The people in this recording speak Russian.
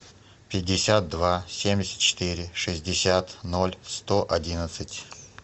пятьдесят два семьдесят четыре шестьдесят ноль сто одиннадцать